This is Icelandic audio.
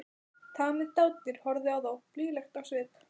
Tamið dádýr horfði á þá blíðlegt á svip.